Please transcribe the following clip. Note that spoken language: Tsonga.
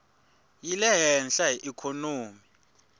yi le hehla hi ikhonomi